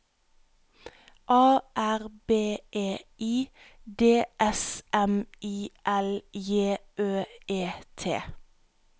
A R B E I D S M I L J Ø E T